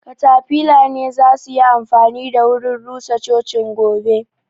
Katafila ne za suyi amfani da wurin rusa cocin gobe